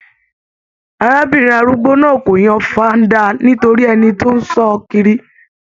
Arábìnrin arúgbó náà kò yan faanda nítorí ẹni tó n sọ kiri.